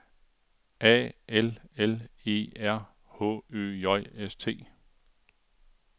A L L E R H Ø J S T